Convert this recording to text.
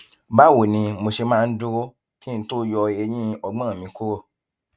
báwo ni mo ṣe máa ń dúró kí n tó yọ eyín ọgbón mi kúrò